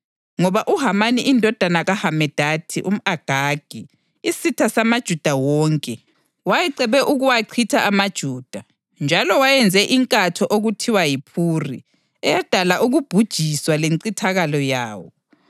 Ngoba uHamani indodana kaHamedatha, umʼAgagi, isitha samaJuda wonke, wayecebe ukuwachitha amaJuda njalo wayenze inkatho okuthiwa yiphuri eyadala ukubhujiswa lencithakalo yawo.